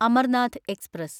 Amarnath express